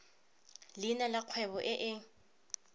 leina la kgwebo e e